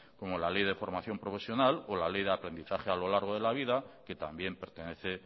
como la ley de formación profesional o la ley de aprendizaje a lo largo de la vida que también pertenece